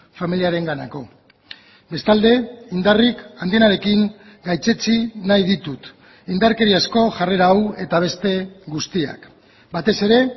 familiarenganako bestalde indarrik handienarekin gaitzetsi nahi ditut indarkeriazko jarrera hau eta beste guztiak batez ere